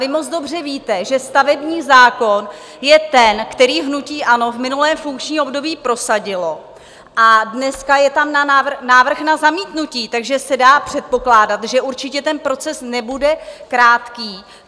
Vy moc dobře víte, že stavební zákon je ten, který hnutí ANO v minulém funkčním období prosadilo, a dneska je tam návrh na zamítnutí, takže se dá předpokládat, že určitě ten proces nebude krátký.